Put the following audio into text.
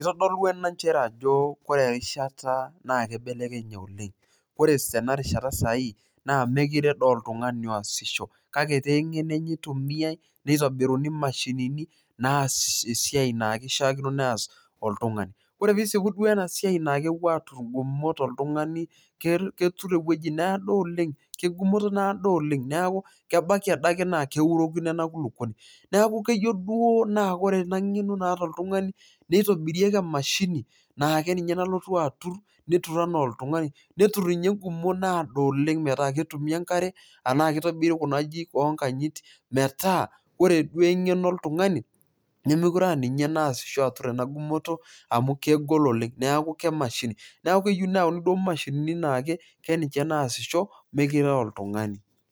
Itodolu ena njere ajo kore erishata naake ibelekenye oleng', ore tena rishata saai naa mekure doi oltung'ani oasisho kake etaa eng'eno enye itumiai nitobiruni mashinini naas esiai naake ishaakino neas oltung'ani. Ore piisipu duo ena siai naake epuo atur ng'umot oltung'ani ketur ewoji naado oleng' keng'umoto naado oleng', neeku kebaiki ade ake naake eurokino ena kulukoni. Neeku keyeu duo naa kore ena ng'eno naata oltung'ani nitobirieki emashini naake ninye nalotu atur, netur enaa oltung'ani netur ninye ng'umot naado oleng' metaa ketumi enkare naake itobiri Kuna ajijik o nkanyit metaa ore duo eng'eno oltung'ani nemekure aa ninye naasisho atur ena gumoto amu kegol oleng', Neeku kemashini, neeku keyeu duo neyauni mashinini keninje naasisho mekure a oltung'ani.